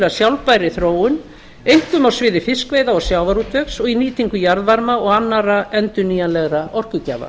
sjálfbærri þróun einkum á sviði fiskveiða og sjávarútvegs og í nýtingu jarðvarma og annarra endurnýjanlegra orkugjafa